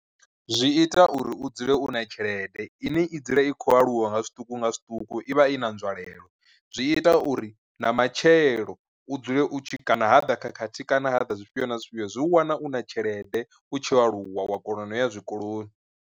Zwi ita uri u dzule u na tshelede ine i dzule i khou aluwa nga zwiṱuku nga zwiṱuku i vha i na nzwalelo, zwi ita uri na matshelo u dzule u tshi kana ha ḓa khakhathi kana ha ḓa zwifhio na zwifhio zwi u wana u na tshelede u tshi aluwa wa kona no ya zwikoloni.